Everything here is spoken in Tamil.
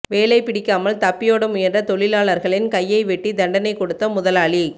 வேலை பிடிக்காமல் தப்பியோட முயன்ற தொழிலாளர்களின் கையை வெட்டி தண்டனை கொடுத்த முதலாளி